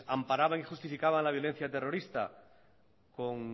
amparaban y justificaban la violencia terrorista con